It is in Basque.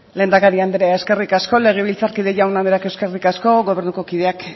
lehendakari andrea eskerrik asko legebiltzarkide jaun andreak eskerrik asko gobernuko kideak